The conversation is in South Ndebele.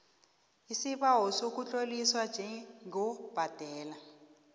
isibawo sokutloliswa njengobhadela